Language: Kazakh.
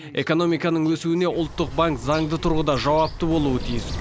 экономиканың өсуіне ұлттық банк заңды тұрғыда жауапты болуы тиіс